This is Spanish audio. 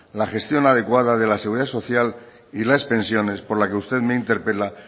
la gestión adecuada de la seguridad social y las pensiones por la que usted me interpela